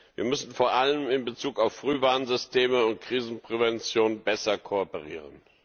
Wir müssen vor allem in Bezug auf Frühwarnsysteme und Krisenprävention besser kooperieren.